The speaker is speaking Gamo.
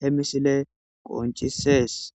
he misile qoncisees